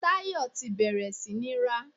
Tayọ ti bẹ̀rẹ̀ sí ní rá.